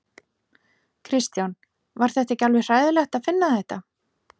Kristján: Var þetta ekki alveg hræðilegt að finna þetta?